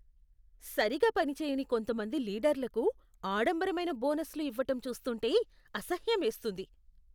సరిగా పనిచేయని కొంతమంది లీడర్లకు ఆడంబరమైన బోనస్లు ఇవ్వటం చూస్తుంటే అసహ్యమేస్తుంది.